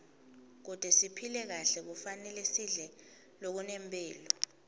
kute siphile kahle kufanele sidle lokunemphilo